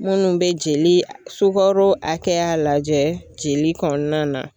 Minnu be jeli sugaro hakɛya lajɛ jeli kɔnɔna na